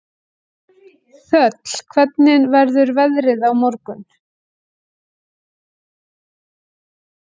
Þöll, hvernig verður veðrið á morgun?